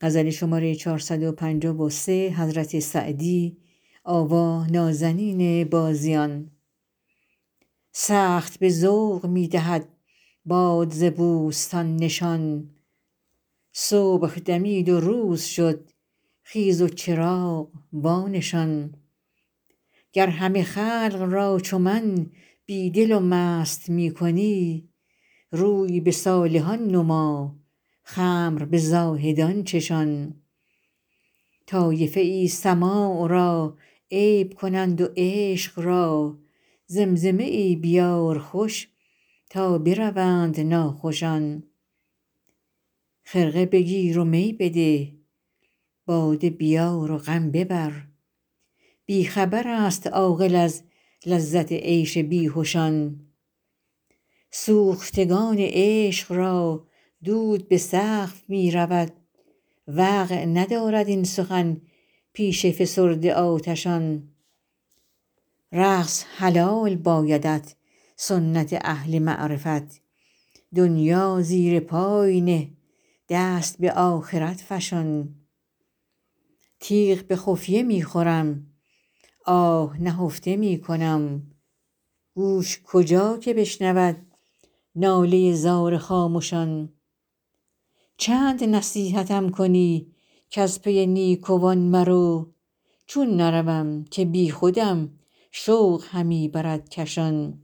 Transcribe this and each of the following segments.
سخت به ذوق می دهد باد ز بوستان نشان صبح دمید و روز شد خیز و چراغ وانشان گر همه خلق را چو من بی دل و مست می کنی روی به صالحان نما خمر به زاهدان چشان طایفه ای سماع را عیب کنند و عشق را زمزمه ای بیار خوش تا بروند ناخوشان خرقه بگیر و می بده باده بیار و غم ببر بی خبر است عاقل از لذت عیش بیهشان سوختگان عشق را دود به سقف می رود وقع ندارد این سخن پیش فسرده آتشان رقص حلال بایدت سنت اهل معرفت دنیا زیر پای نه دست به آخرت فشان تیغ به خفیه می خورم آه نهفته می کنم گوش کجا که بشنود ناله زار خامشان چند نصیحتم کنی کز پی نیکوان مرو چون نروم که بیخودم شوق همی برد کشان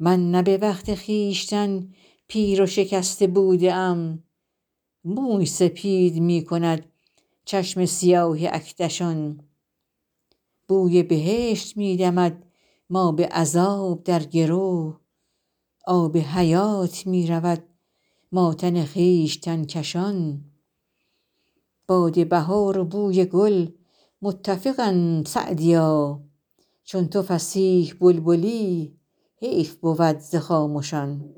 من نه به وقت خویشتن پیر و شکسته بوده ام موی سپید می کند چشم سیاه اکدشان بوی بهشت می دمد ما به عذاب در گرو آب حیات می رود ما تن خویشتن کشان باد بهار و بوی گل متفقند سعدیا چون تو فصیح بلبلی حیف بود ز خامشان